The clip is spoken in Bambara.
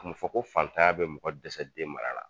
A ma fɔ ko fatanya bɛ mɔgɔ dɛsɛ den mara la.